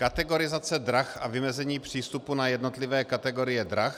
Kategorizace drah a vymezení přístupu na jednotlivé kategorie drah.